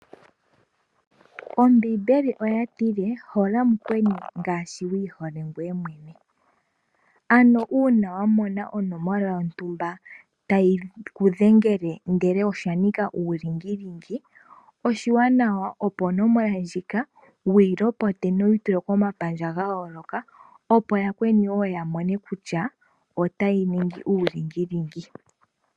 Ombimbeli oya tile hola mukweni ngaashi wi ihole ngweye mwene. Ano una wa mona onomola yontumba tayiku dhengele ndele osha nika ulingilingi oshiwanawa opo onomola ndjika wuyi lopote nowu yi tule komapandja ga yooloka opo yakweni woo ya mone kutya otayi ningi ulingilingi.